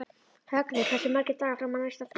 Högni, hversu margir dagar fram að næsta fríi?